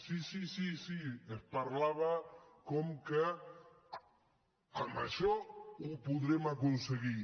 sí sí sí es parlava com que amb això ho podrem aconseguir